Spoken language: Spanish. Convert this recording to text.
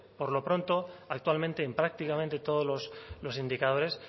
por lo pronto actualmente en prácticamente todos los indicadores